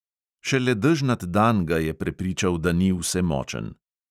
Šele dežnat dan ga je prepričal, da ni vsemočen.